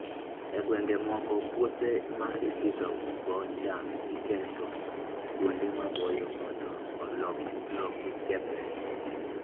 E gwenge moko, puothe ma ipidhogo cham, iketo kuonde maboyo mondo lowo kik kethre.